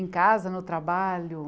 Em casa, no trabalho?